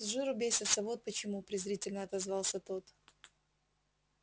с жиру бесятся вот почему презрительно отозвался тот